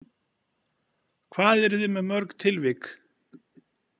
Hvað eruð þið með mörg tilvik?